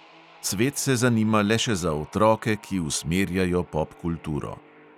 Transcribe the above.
Svet se zanima le še za otroke, ki usmerjajo popkulturo.